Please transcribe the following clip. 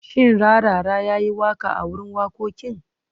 Shin Rarara ya yi waƙa a wurin wakokin?